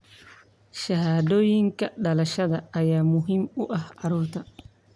Shahaadooyinka dhalashada ayaa muhiim u ah carruurta.